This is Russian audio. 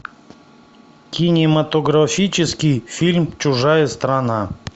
кинематографический фильм чужая страна